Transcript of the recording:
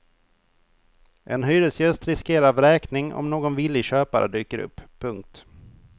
En hyresgäst riskerar vräkning om någon villig köpare dyker upp. punkt